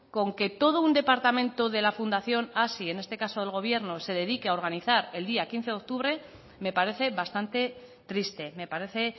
con que todo un departamento de la fundación hazi en este caso el gobierno se dedique a organizar el día quince de octubre me parece bastante triste me parece